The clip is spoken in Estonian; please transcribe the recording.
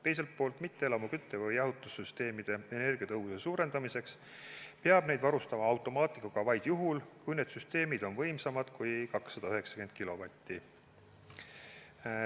Teiselt poolt, mitteelamu kütte- või jahutussüsteemide energiatõhususe suurendamiseks peab need varustama automaatikaga vaid juhul, kui need süsteemid on võimsamad kui 290 kilovatti.